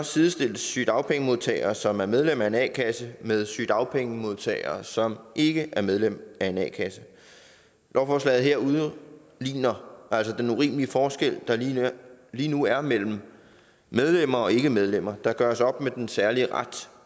sidestilles sygedagpengemodtagere som er medlem af en a kasse med sygedagpengemodtagere som ikke er medlem af en a kasse lovforslaget her udligner altså den urimelige forskel der lige nu er mellem medlemmer og ikkemedlemmer der gøres op med den særlige ret